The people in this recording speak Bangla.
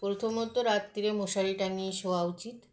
প্রথমত রাত্তিরে মশারি টাঙ্গিয়ে শোয়া উচিত